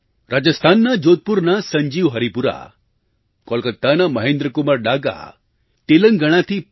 રાજસ્થાનના જોધપુરના સંજીવ હરિપુરા કોલકાતાના મહેન્દ્રકુમાર ડાગા તેલંગણાથી પી